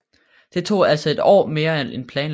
Det tog altså ét år mere end planlagt